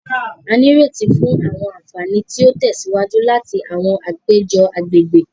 A n'ireti fún àwọn ànfàní ti o tèsíwájú láti àwọn àpéjọ àgbègbè.